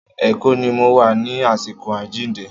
Èkó ni mo wà ní àsìkò àjíǹde.